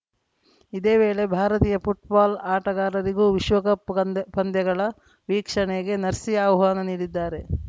ಇದೇ ವೇಳೆ ಭಾರತೀಯ ಫುಟ್ಬಾಲ್‌ ಆಟಗಾರರಿಗೂ ವಿಶ್ವಕಪ್‌ ಪಂದ್ಯ ಪಂದ್ಯಗಳ ವೀಕ್ಷಣೆಗೆ ನರ್ಸೀ ಆಹ್ವಾನ ನೀಡಿದ್ದಾರೆ